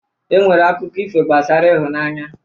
E nwere akụkọ ifo gbasara ịhụnanya